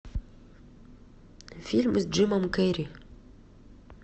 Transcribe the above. фильм с джимом керри